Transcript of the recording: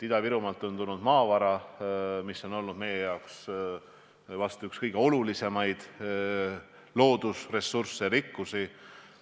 Ida-Virumaalt on tulnud maavara, mis on olnud meie jaoks vast üks kõige olulisemaid loodusressursse, rikkusi.